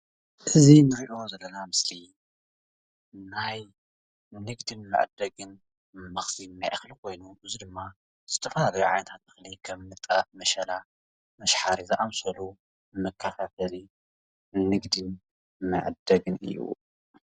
እዙይ እንርእዮ ዘለና ምስሊ ናይ ንግዲን መዐደግን መክዝን ናይ እክሊ ኮይኑ እዙይ ድማ ዝተፈላለየ ዓይነታት እክሊ ከም ጣፍ፣ መሸላ፣ ምሽሓሪ ዝኣምሰሉ መከፋፈሊ ንግዲን መዐደግን እዩ።